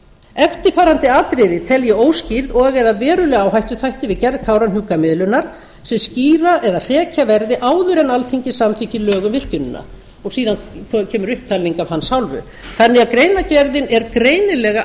eftirfarandi atriði tel ég óskýrð og eða verulega áhættuþætti við gerð kárahnjúkamiðlunar sem skýra eða hrekja verði áður en alþingi samþykkir lög um virkjunina síðan kemur upptalning af hans hálfu greinargerðin er því greinilega